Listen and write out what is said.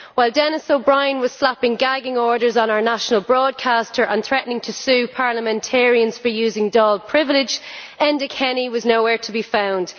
While Denis O'Brien was slapping gagging orders on our national broadcaster and threatening to sue parliamentarians for using Dáil privilege, Enda Kenny was nowhere to be found.